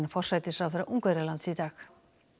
forsætisráðherra Ungverjalands í dag